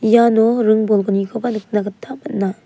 iano ring bolgnikoba nikna gita man·a.